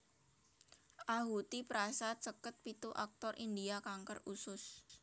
Ahuti Prasad seket pitu aktor India kanker usus